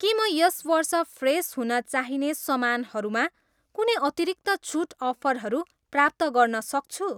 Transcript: के म यस वर्ष फ्रेस हुन चाहिने समानहरू मा कुनै अतिरिक्त छुट अफरहरू प्राप्त गर्न सक्छु?